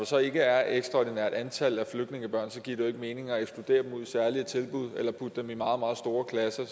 så ikke er et ekstraordinært antal af flygtningebørn giver det jo ikke mening at ekskludere dem ud i særlige tilbud eller putte dem i meget meget store klasser